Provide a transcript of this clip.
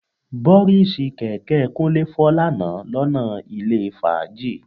Bọ́ríìsì kẹ̀kẹ́ Kúnlé fọ́ lánàá lọ́nà ilé fàájì